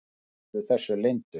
Þeir héldu þessu leyndu.